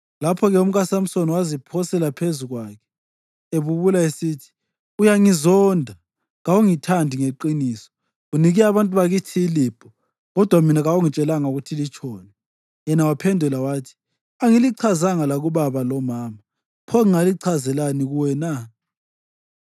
Lapho-ke umkaSamsoni waziphosela phezu kwakhe, ebubula esithi, “Uyangizonda. Kawungithandi ngeqiniso. Unike abantu bakithi ilibho; kodwa mina kawungitshelanga ukuthi litshoni.” Yena waphendula wathi, “Angilichazanga lakubaba lomama, pho ngingalichazelani kuwe na?”